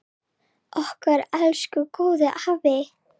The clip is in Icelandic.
Okkar elsku góði afi!